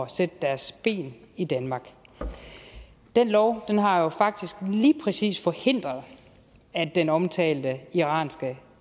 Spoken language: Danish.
sætte deres ben i danmark den lov har jo faktisk lige præcis forhindret at den omtalte iranske